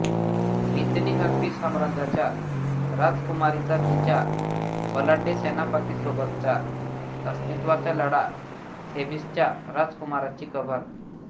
मितनी हर्पी साम्राज्याच्या राजकुमारीचा तिच्या बलाढ्य सेनापतीसोबतचा अस्तित्वाचा लढा थेबिसच्या राजकुमाराची कबर